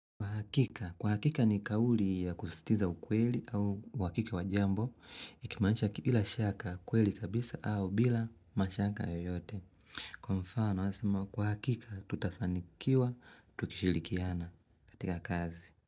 Kwa hakika ni kauli ya kusisitiza ukweli au uhakija wa jambo, ikimaanisha bila shaka kweli kabisa au bila mashaka yoyote. Kwa mfano, kwa hakika tutafanikiwa, tukishilikiana katika kazi.